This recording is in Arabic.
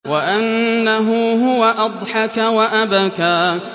وَأَنَّهُ هُوَ أَضْحَكَ وَأَبْكَىٰ